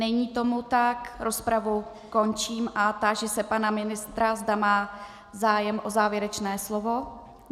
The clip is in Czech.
Není tomu tak, rozpravu končím a táži se pana ministra, zda má zájem o závěrečné slovo.